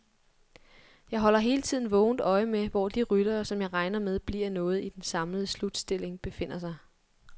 Jeg holder hele tiden vågent øje med, hvor de ryttere, som jeg regner med bliver noget i den samlede slutstilling, befinder sig.